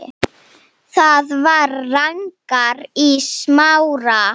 Það var Ragnar í Smára.